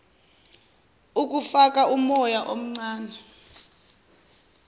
ukufaka umoya omncane